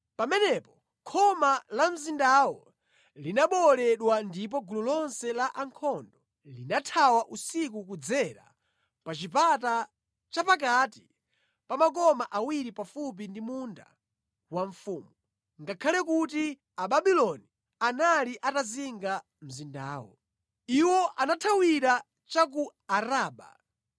Pamenepo khoma la mzindawo linabowoledwa ndipo gulu lonse la ankhondo linathawa usiku kudzera pa chipata cha pakati pa makoma awiri pafupi ndi munda wa mfumu, ngakhale kuti Ababuloni anali atazinga mzindawo. Iwo anathawira cha ku Araba,